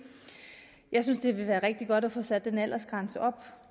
jeg synes det ville være rigtig godt at få sat den aldersgrænse op